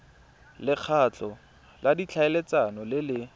lekgotla la ditlhaeletsano le le